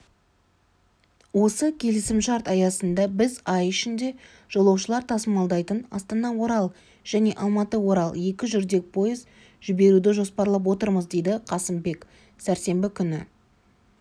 осы келісімшарт аясында біз ай ішінде жолаушылар тасымалдайтын астана-орал және алматы-орал екі жүрдек поезд жіберуді жоспарлап отырмыз деді қасымбек сәрсенбі күні